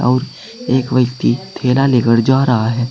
और एक व्यक्ति थैला लेकर जा रहा हैं।